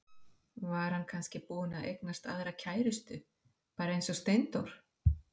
Var hann kannski búinn að eignast aðra kærustu, bara eins og Steindór?